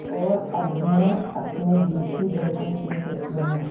और अब मैं अपने दिल की धड़कन सुन सकती हूँ